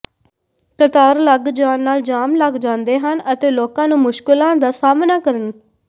ਕਤਾਰ ਲੱਗ ਜਾਣ ਨਾਲ ਜਾਮ ਲੱਗ ਜਾਂਦੇ ਹਨ ਅਤੇ ਲੋਕਾਂ ਨੂੰ ਮੁਸ਼ਕਲਾਂ ਦਾ ਸਾਹਮਣਾ ਕਰਨ